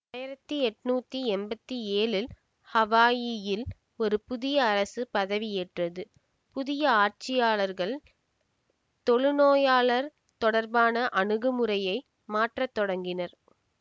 ஆயிரத்தி எட்ணூத்தி எம்பத்தி ஏழில் ஹவாயியில் ஒரு புதிய அரசு பதவி ஏற்றது புதிய ஆட்சியாளர்கள் தொழுநோயாளர் தொடர்பான அணுகுமுறையை மாற்றத் தொடங்கினர்